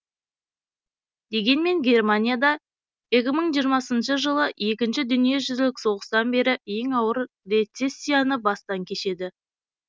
дегенмен германия да екі мың жиырмасыншы жылы екінші дүниежүзілік соғыстан бері ең ауыр рецессияны бастан кешеді